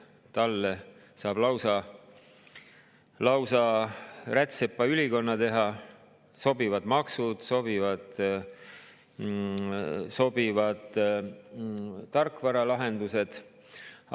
Talle saab teha lausa rätsepaülikonna, sobivad maksud, sobivad tarkvaralahendused.